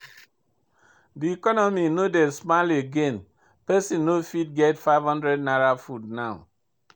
De economy no dey smile again, pesin no fit get #500 food now.